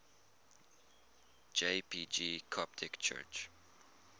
jpg coptic church